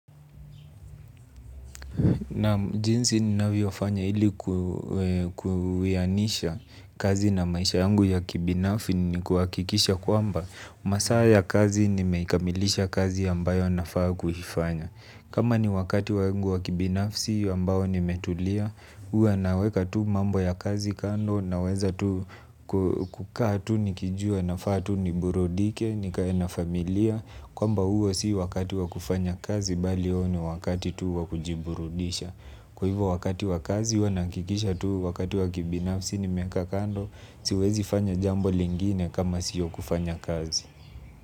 Naam, jinsi ninavyofanya ili kuwianisha kazi na maisha yangu ya kibinafi ni kuhakikisha kwamba masaa ya kazi nimeikamilisha kazi ambayo nafaa kuifanya. Kama ni wakati wangu wa kibinafsi ambao nimetulia. Huwa naweka tu mambo ya kazi kando naweza tu kukaa tu nikijua nafaa tu niburudike. Nikae familia kwamba huo si wakati wa kufanya kazi bali huo ni wakati tu wa kujiburudisha. Kwa hivyo wakati wakazi huwa nahakikisha tu wakati wakibinafsi nimekaa kando. Siwezi fanya jambo lingine kama siyo kufanya kazi.